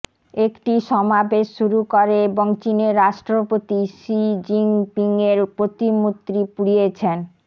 একটি সমাবেশ শুরু করে এবং চীনের রাষ্ট্রপতি শি জিনপিংয়ের প্রতিমূর্তি পুড়িয়েছেন